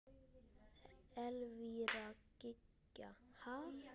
Elvíra Gýgja: Ha?